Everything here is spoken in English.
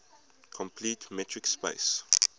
complete metric space